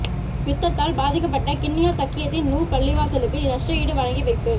யுத்தத்தால் பாதிக்கப்பட்ட கிண்ணியா தக்கியத்துன் நூர் பள்ளிவாசலுக்கு நஷ்டஈடு வழங்கி வைப்பு